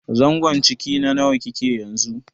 zangon ciki na nawa kike yanzu?